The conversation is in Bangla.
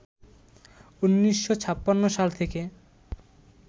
১৯৫৬ সাল থেকে